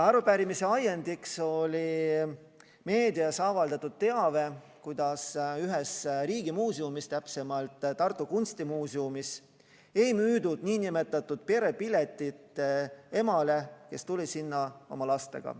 Arupärimise ajendiks oli meedias avaldatud teave, kuidas ühes riigimuuseumis, täpsemalt Tartu Kunstimuuseumis, ei müüdud nn perepiletit emale, kes tuli sinna oma lastega.